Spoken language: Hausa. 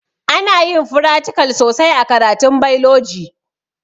Anayin fratikal sosai a karatun bailoji